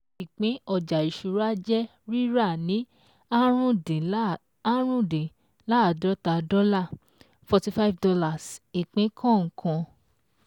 Ìpín ọjà ìṣúra jẹ́ jẹ́ rírà ni árùndín-láàdọ́ta dọ́ọlà forty fivr dollars ìpín kọ̀ọ̀kan.